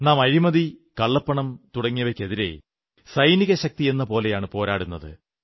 നാം അഴിമതി കള്ളപ്പണം തുടങ്ങിയവയ്ക്കെതിരെ സൈനിക ശക്തിയെന്നപോലെയാണ് പോരാടുന്നത്